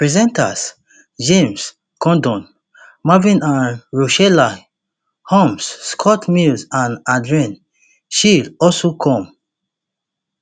presenters james corden marvin and rochelle humes scott mills and adrian chiles also come